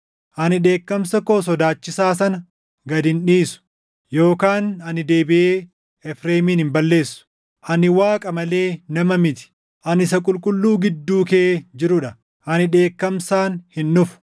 Ani dheekkamsa koo sodaachisaa sana gad hin dhiisu; yookaan ani deebiʼee Efreemin hin balleessu. Ani Waaqa malee nama miti; ani Isa Qulqulluu gidduu kee jiruu dha. Ani dheekkamsaan hin dhufu.